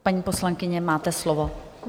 Paní poslankyně, máte slovo.